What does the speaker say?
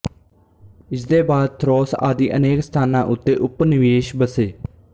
ਇਸਦੇ ਬਾਅਦ ਥਰੋਸ ਆਦਿ ਅਨੇਕ ਸਥਾਨਾਂ ਉੱਤੇ ਉਪਨਿਵੇਸ਼ ਬਸੇ